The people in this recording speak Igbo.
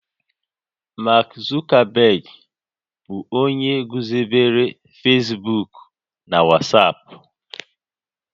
Mark Zuckerberg bụ onye guzobere Facebook na WhatsApp